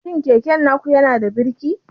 Shi keken naku yanada birki?